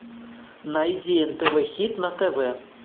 найди нтв хит на тв